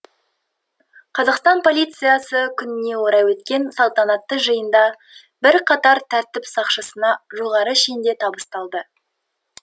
қазақстан полициясы күніне орай өткен салтанатты жиында бірқатар тәртіп сақшысына жоғары шен де табысталды